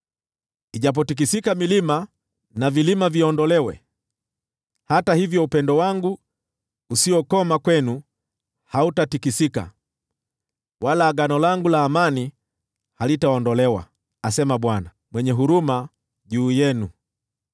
Ijapotikisika milima, na vilima viondolewe, hata hivyo upendo wangu usiokoma kwenu hautatikisika, wala agano langu la amani halitaondolewa,” asema Bwana , mwenye huruma juu yenu.